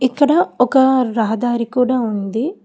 ఇక్కడ ఒక రహదారి కూడా ఉంది.